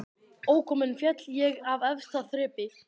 Ókominn féll ég af efsta þrepi